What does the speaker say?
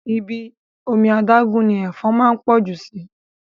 Ibi omi adágún ni Ẹ̀fọn máa ń pọ̀ jù síí